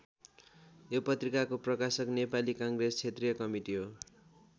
यो पत्रिकाको प्रकाशक नेपाली काङ्ग्रेस क्षेत्रीय कमिटी हो।